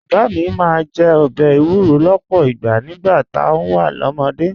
Bàbá mi máa ń jẹ ọbẹ̀ èwúrọ̀ lọ́pọ̀ ìgbà nígbà tá a wà lọ́mọdé